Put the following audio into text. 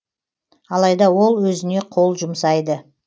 алайда ол өзіне қол жұмсайды